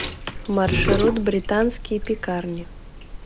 маршрут британские пекарни